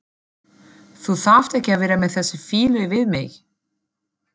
Þú þarft ekki að vera með þessa fýlu við mig.